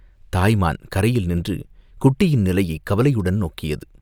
தாய் மான் கரையில் நின்று குட்டியின் நிலையைக் கவலையுடன் நோக்கியது.